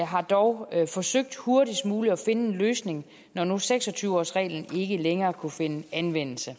har dog forsøgt hurtigst muligt at finde en løsning når nu seks og tyve årsreglen ikke længere kunne finde anvendelse